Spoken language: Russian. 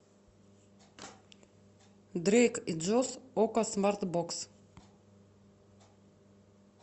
дрейк и джош окко смарт бокс